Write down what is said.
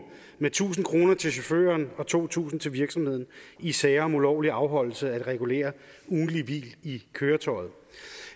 med tusind kroner til chaufføren og to tusind kroner til virksomheden i sager om ulovlig afholdelse af regulære ugentlige hvil i køretøjet